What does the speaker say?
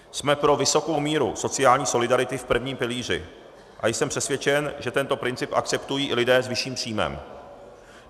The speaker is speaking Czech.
Jsme pro vysokou míru sociální solidarity v prvním pilíři a jsem přesvědčen, že tento princip akceptují i lidé s vyšším příjmem.